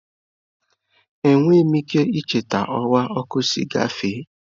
Enweghị m ike icheta ọwa ọkụ si gafe.